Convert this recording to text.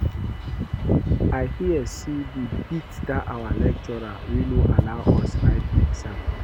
I hear say dey beat dat our lecturer wey no allow us write exam